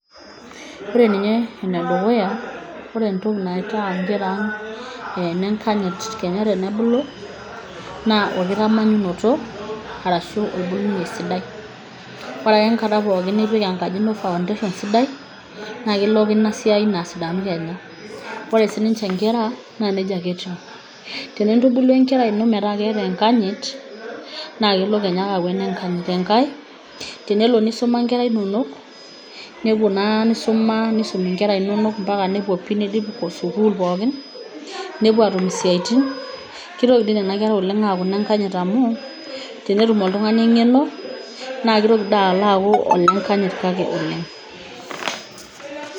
Ore ninye enedukuya ore entoki naitaa inkera ang' ineng'anyit kenya tenebulu naa olkitananyunoto arashu olkitubulunei sidai. Ore ake enkata nipik enkaji ino foundation sidai naa kelo ake ina siai ino asidanu kenya. Ore sininje inkera naa nejia ake etiu. Tenintubulu enkerai ino metaa keeta eng'anyit, naa kelo Kenya ake aaku eneng'anyi, eng'ae tenelo nisuma inkera inono nepuo naa nisuma nepuo mbaka niidim sukuul pookin nepuo aatum isiatin kitoki doi nena kera aaku ineng, anyit amu tenetum oltung, ani eng'eno naa kitoki doi alo aaku olenganyit oleng'.